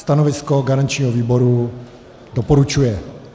Stanovisko garančního výboru: doporučuje.